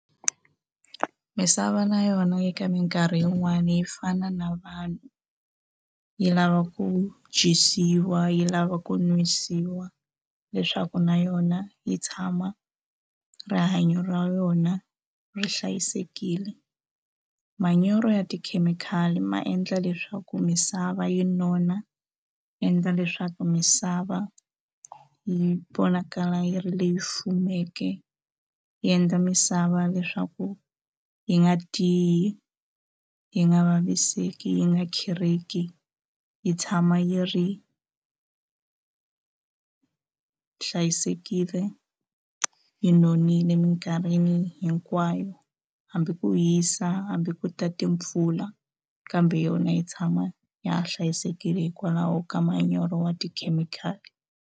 Misava na yona eka mikarhi yin'wani yi fana na vanhu yi lava ku dyisiwa yi lava ku nwisiwa leswaku na yona yi tshama rihanyo ra yona ri hlayisekile manyoro ya tikhemikhali ma endla leswaku misava yi nona ya endla leswaku misava yi vonakala yi ri leyi fumeke yi endla misava leswaku yi nga tiyi yi nga vaviseki yi nga khereki yi tshama yi ri hlayisekile yi nonile mikarhini hinkwayo hambi ku hisa hambi ko ta timpfula kambe yona yi tshama ya ha hlayisekile hikwalaho ka manyoro ya tikhemikhali.